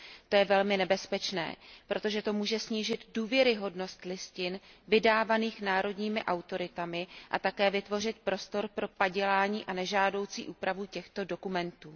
To je velmi nebezpečné, protože to může snížit důvěryhodnost listin vydávaných národními autoritami a také vytvořit prostor pro padělání a nežádoucí úpravu těchto dokumentů.